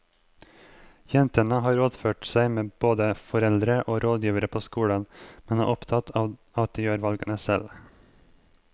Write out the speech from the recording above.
Jentene har rådført seg med både foreldre og rådgivere på skolen, men er opptatt av at de gjør valgene selv.